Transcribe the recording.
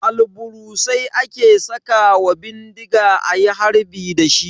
Albarusai ake sakawa bindiga ayi harbi dashi.